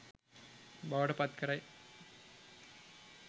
බවට පත් කරයි.